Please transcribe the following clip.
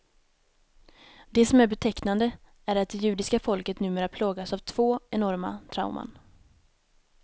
Det som är betecknande är att det judiska folket numera plågas av två enorma trauman.